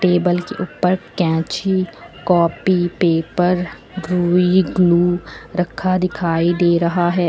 Table के ऊपर कैंची कॉपी पेपर ग्लू रखा दिखाई दे रहा है।